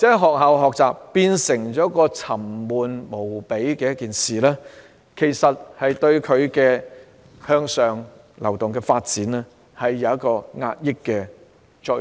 學校的學習變成了沉悶無比的事情，這對他們向上流動產生了壓抑的作用。